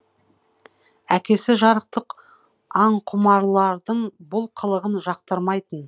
әкесі жарықтық аңқұмарлардың бұл қылығын жақтырмайтын